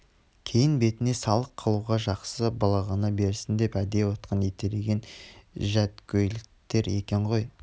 кейін бетіне салық қылуға жақсы былыға берсін деп әдей отқа итерген жәдгөйліктер екен ғой